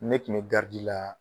Ne tun be la